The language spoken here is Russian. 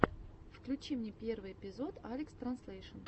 включи мне первый эпизод алекстранзлэйшн